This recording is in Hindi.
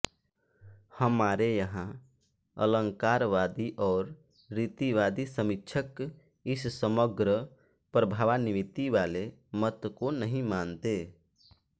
हमारे यहाँ अलंकारवादी और रीतिवादी समीक्षक इस समग्र प्रभावान्वितिवाले मत को नहीं मानते